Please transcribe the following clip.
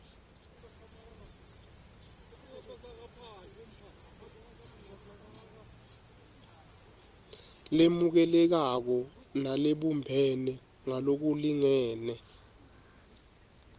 lemukelekako nalebumbene ngalokulingene